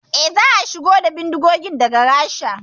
Eh, za a shigo da bindigogin daga Rasha